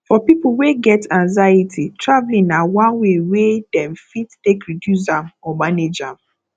for people wey get anxiety traveling na one way wey dem fit take reduce am or manage am